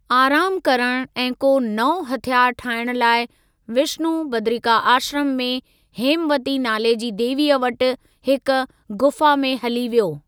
आराम करणु ऐं को नओ हथियारु ठाइण लाइ, विष्णु बदरिकाश्रम में हेमवती नाले जी देवीअ वटि हिक ग़ुफ़ा में हली वयो।